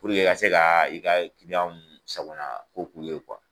Puruke i ka se ka i ka kiliyanw sagona ko k'u ye